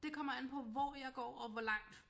Det kommer an på hvor jeg går og hvor langt